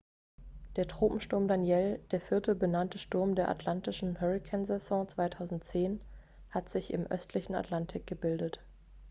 der tropensturm danielle der vierte benannte sturm der atlantischen hurrikansaison 2010 hat sich im östlichen atlantik gebildet